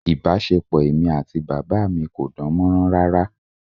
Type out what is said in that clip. Ìbáṣepọ̀ èmi àti bàbá mi kò dán mọ́rán rárá